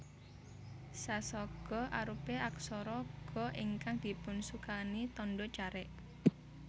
Sa saga arupi aksara Ga ingkang dipunsukani tandha carik